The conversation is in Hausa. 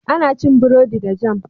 Ana cin bredi da "jam"